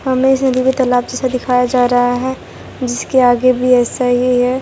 हमें इस नदी को तालाब जैसा दिखाया जा रहा है जिसके आगे भी ऐसा ही है।